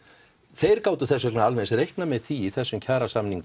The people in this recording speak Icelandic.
þeir gátu þess vegna alveg eins reiknað með því í þessum kjarasamningum